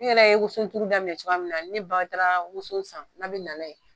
Ne yɛrɛ ye woson turu daminɛ cogoya min na ni ne ba taara woson san n'a bi n'a ye